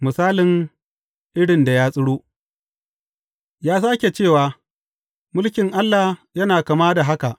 Misalin irin da ya tsiro Ya sāke cewa, Mulkin Allah yana kama da haka.